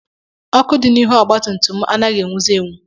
Ọkụ dị n'ihu ọgbatumtum m anaghị enwuzi enwu.